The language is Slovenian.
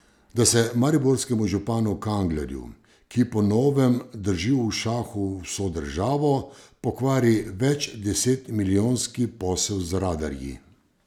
Da se mariborskemu županu Kanglerju, ki po novem drži v šahu vso državo, pokvari večdesetmilijonski posel z radarji.